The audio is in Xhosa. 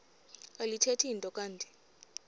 alithethi nto kanti